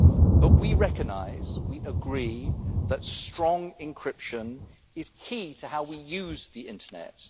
But we recognise, and we agree, that strong encryption is key to how we use the internet.